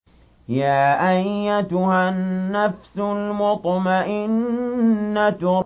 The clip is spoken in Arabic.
يَا أَيَّتُهَا النَّفْسُ الْمُطْمَئِنَّةُ